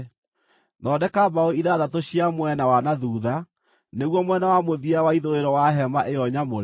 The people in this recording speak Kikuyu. Thondeka mbaũ ithathatũ cia mwena wa na thuutha, nĩguo mwena wa mũthia wa ithũĩro wa hema ĩyo nyamũre,